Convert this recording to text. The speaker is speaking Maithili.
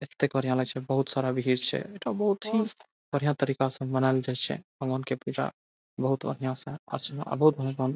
एते कार्यालय छै बहुत सारा भीड़ छै एठा बहुत ही बढ़िया तरीका से मनाएल जाय छै भगवान के पूजा बहुत बढ़िया से --